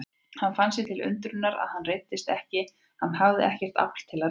Hann fann sér til undrunar að hann reiddist ekki, hafði ekkert afl til að reiðast.